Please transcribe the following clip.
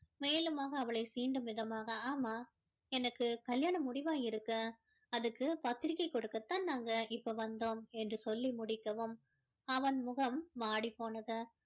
மேலுமாக அவளை சீண்டும் விதமாக ஆமா எனக்கு கல்யாணம் முடிவாகி இருக்கு அதுக்கு பத்திரிக்கை கொடுக்கத்தான் நாங்க இப்போ வந்தோம் என்று சொல்லி முடிக்கவும் அவன் முகம் வாடிப்போனது